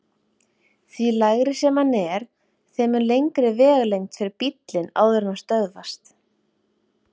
Því lægri sem hann er, þeim mun lengri vegalengd fer bíllinn áður en hann stöðvast.